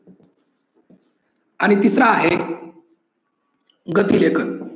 आणि तिसर आहे गती लेखन.